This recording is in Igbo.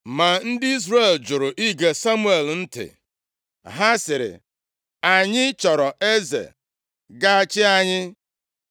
Ma ndị Izrel jụrụ ige Samuel ntị. Ha sịrị, “Anyị chọrọ eze ga-achị anyị.